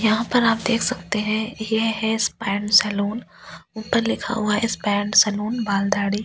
यहां पर आप देख सकते हैं ये है स्पैंड सैलून ऊपर लिखा हुआ है स्पैंड सैलून बाल दाड़ी --